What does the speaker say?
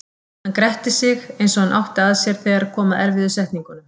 Hann gretti sig eins og hann átti að sér þegar kom að erfiðu setningunum.